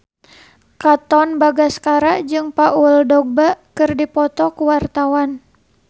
Katon Bagaskara jeung Paul Dogba keur dipoto ku wartawan